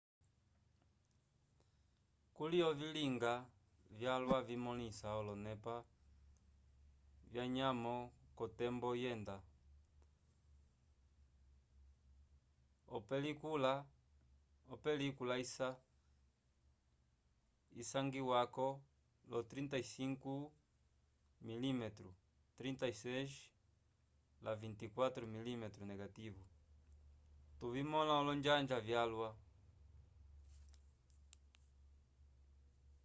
kuli ovilinga vyalwa vimõlisa olonepa vyanyamo k’otembo yenda. opelikula isangiwako lyo 35 mm 36 la 24 mm negativo tuvimõla olonjanja vyalwa